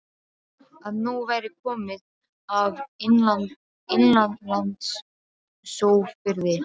Að nóg væri komið af innanlandsófriði.